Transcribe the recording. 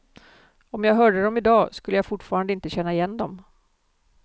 Om jag hörde dem i dag skulle jag fortfarande inte känna igen dem.